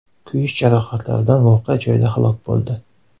kuyish jarohatlaridan voqea joyida halok bo‘ldi.